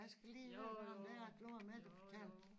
Jeg skal lige høre noget om det du har mere at fortælle